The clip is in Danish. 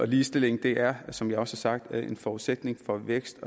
ligestilling er som jeg også har sagt en forudsætning for vækst